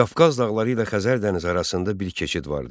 Qafqaz dağları ilə Xəzər dənizi arasında bir keçid vardı.